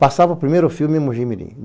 Passava primeiro o filme em Mogimirim.